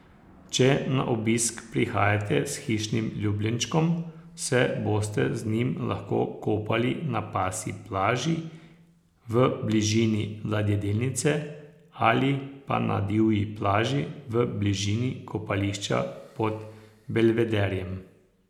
Če na obisk prihajate s hišnim ljubljenčkom, se boste z njim lahko kopali na Pasji plaži v bližini ladjedelnice ali pa na divji plaži v bližini kopališča pod Belvederjem.